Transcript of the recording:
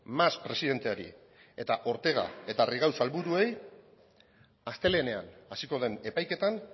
mas presidenteari eta ortega eta rigau sailburuei astelehenean hasiko den epaiketan